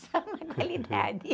Só uma qualidade.